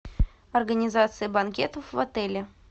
организация банкетов в отеле